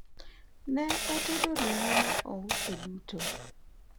ne otedo ringo ma ouso duto